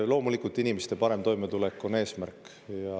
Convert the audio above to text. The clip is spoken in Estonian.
Loomulikult, inimeste parem toimetulek on eesmärk.